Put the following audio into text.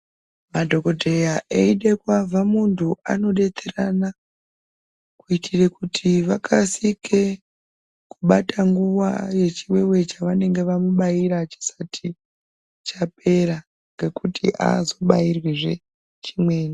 Madhokodheya eide kuavha muntu anodetserana, kuite kuti vakasike kubata nguwa, yechiwewe chevanenge vamubayira chisati chapera, ngekuti aazobairwizve chimweni.